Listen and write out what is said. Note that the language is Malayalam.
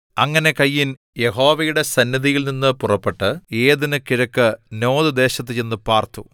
അങ്ങനെ കയീൻ യഹോവയുടെ സന്നിധിയിൽ നിന്നു പുറപ്പെട്ട് ഏദെന് കിഴക്ക് നോദ് ദേശത്ത് ചെന്നു പാർത്തു